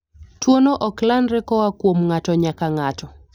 Tuwono ok landre koa kuom ng'ato nyaka ng'ato.